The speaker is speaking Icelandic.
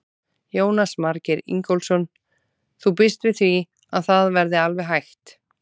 Jónas Margeir Ingólfsson: Þú býst við því að það verði alveg hægt?